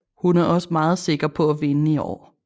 Hun er også meget sikker på at vinde i år